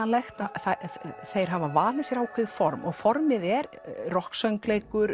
óhöndlanlegt þeir hafa valið sér ákveðið form og formið er